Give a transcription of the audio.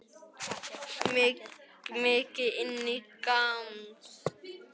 Lillý Valgerður: Mikið inn í gámnum?